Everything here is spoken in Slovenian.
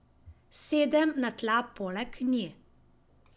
Sedem na tla poleg nje.